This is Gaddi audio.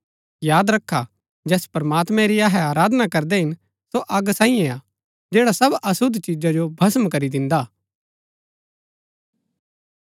याद रखा जैस प्रमात्मैं री अहै आराधना करदै हिन सो अग सांईये हा जैड़ा सब अशुद्ध चिजा जो भस्म करी दिन्दा हा